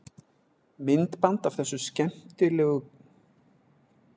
Myndband af þessum skemmtilegu kyndingum má sjá hér að neðan.